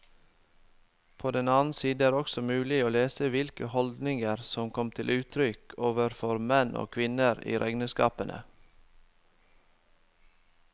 På den annen side er det også mulig å lese hvilke holdninger som kom til uttrykk overfor menn og kvinner i regnskapene.